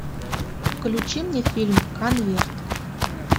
включи мне фильм конверт